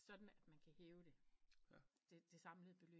Sådan at man kan høve det det samlede beløb